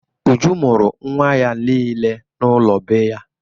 Uju mụrụ ụmụ ya niile n'ụlọ be ya.